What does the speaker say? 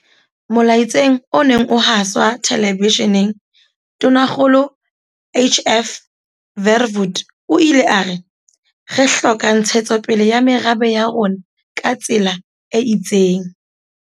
Molaetseng o neng o haswa telebesheneng, Tonakgolo HF Verwoerd o ile a re, "Re hloka ntshetsopele ya merabe ya rona ka tsela e itseng."